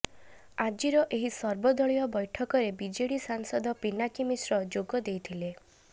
ଆଜିର ଏହି ସର୍ବଦଳୀୟ ବୈଠକରେ ବିଜେଡି ସାଂସଦ ପିନାକୀ ମିଶ୍ର ଯୋଗ ଦେଇଥିଲେ